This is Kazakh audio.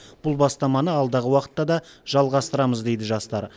бұл бастаманы алдағы уақытта да жалғастырамыз дейді жастар